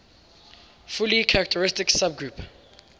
fully characteristic subgroup